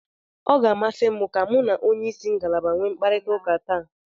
Ọ ga-amasị m ka mu na onye isi ngalaba nwee mkparịtaụka taa.